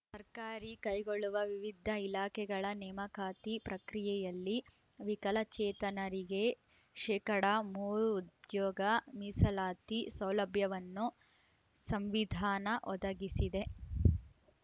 ಸರ್ಕಾರಿ ಕೈಗೊಳ್ಳುವ ವಿವಿಧ ಇಲಾಖೆಗಳ ನೇಮಕಾತಿ ಪ್ರಕ್ರಿಯೆಯಲ್ಲಿ ವಿಕಲಚೇತನರಿಗೆ ಶೇಕಡಾ ಮೂರು ಉದ್ಯೋಗ ಮೀಸಲಾತಿ ಸೌಲಭ್ಯವನ್ನು ಸಂವಿಧಾನ ಒದಗಿಸಿದೆ